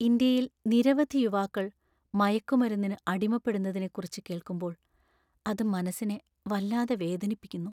ഇന്ത്യയിൽ നിരവധി യുവാക്കൾ മയക്കുമരുന്നിന് അടിമപ്പെടുന്നതിനെക്കുറിച്ച് കേൾക്കുമ്പോൾ അത് മനസ്സിനെ വല്ലാതെ വേദനിപ്പിക്കുന്നു.